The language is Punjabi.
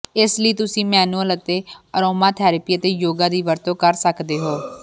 ਇਸ ਲਈ ਤੁਸੀਂ ਮੈਨੂਅਲ ਅਤੇ ਅਰੋਮਾਥੈਰੇਪੀ ਅਤੇ ਯੋਗਾ ਦੀ ਵਰਤੋਂ ਕਰ ਸਕਦੇ ਹੋ